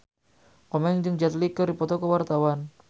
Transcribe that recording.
Komeng jeung Jet Li keur dipoto ku wartawan